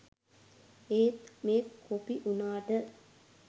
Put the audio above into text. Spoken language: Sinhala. ඒත් මේ කොපි උනාට